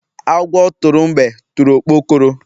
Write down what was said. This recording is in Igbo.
Agwọ tụrụ mgbe tụrụ okpokoro